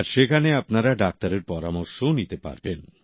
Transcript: আর সেখানে আপনারা ডাক্তারের পরামর্শও নিতে পারবেন